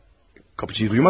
Qapıçını eşitmədin?